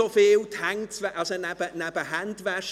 Das hat mir die Frau eines Arztes gesagt;